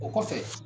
O kɔfɛ